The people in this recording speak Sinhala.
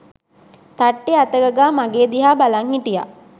තට්ටේ අතගගා මගේ දිහා බලං හිටියා